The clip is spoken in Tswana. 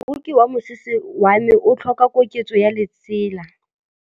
Moroki wa mosese wa me o tlhoka koketsô ya lesela.